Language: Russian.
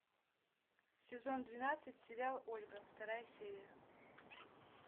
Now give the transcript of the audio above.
сезон двенадцать сериал ольга вторая серия